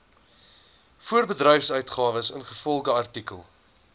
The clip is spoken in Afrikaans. voorbedryfsuitgawes ingevolge artikel